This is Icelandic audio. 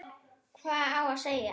Hvað á að segja?